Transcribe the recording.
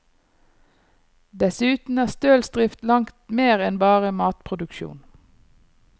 Dessuten er stølsdrift langt mer enn bare matproduksjon.